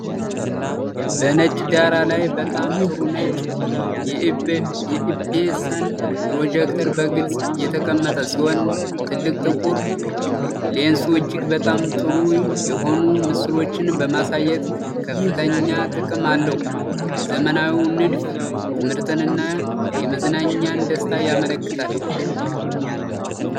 በነጭ ዳራ ላይ በጣም ጥሩ ነጭ የኤፕሰን ፕሮጀክተር በግልጽ የተቀመጠ ሲሆን፣ ትልቅ ጥቁር ሌንሱ እጅግ በጣም ጥሩ የሆኑ ምስሎችን በማሳየት ከፍተኛ ጥቅም አለው። ዘመናዊው ንድፍ የትምህርትንና የመዝናኛን ደስታ ያመላክታል።